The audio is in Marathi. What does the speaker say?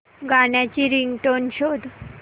गाण्याची रिंगटोन शोध